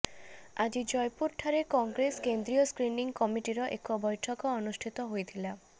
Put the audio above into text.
ଆଜି ଜୟପୁର ଠାରେ କଂଗ୍ରେସ କେନ୍ଦୀୟ ସ୍କ୍ରିନିଂ କମିଟିର ଏକ ବୈଠକ ଅନୁଷ୍ଠିତ ହୋଇଥିଲା